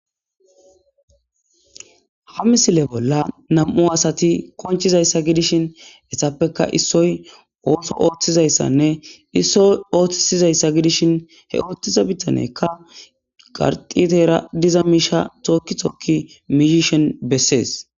Ha misile bolla nam7u asati konchizayssa gidishin essappeka issoy ooso ooththizayssanne issoy ooththisizayssa gidishin he ooththiza bittanekka qarqiteera diza miisha tookitokki mihishen bessees.